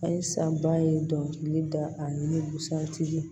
Ayi sanba ye dɔnkili da ani ni busan tigi ye